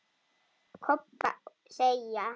Kobba segja.